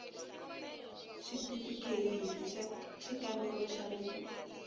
xitifikheyiti xa xikambelo xa le